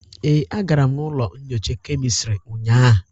Ee, agara m n'ụlọ nnyocha kemistrị ụnyaahụ.